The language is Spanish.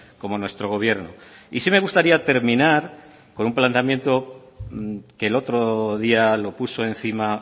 como nuestro gobierno y sí me gustaría terminar con un planteamiento que el otro día lo puso encima